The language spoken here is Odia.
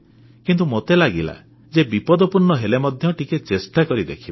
କିନ୍ତୁ ମୋତେ ଲାଗିଲା ଯେ ବିପଦପୂର୍ଣ୍ଣ ହେଲେ ମଧ୍ୟ ଟିକିଏ ଚେଷ୍ଟା କରି ଦେଖିବା